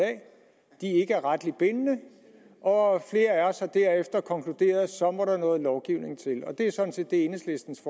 ikke er retligt bindende og flere af os har derefter konkluderet at så må der noget lovgivning til det er sådan set det enhedslistens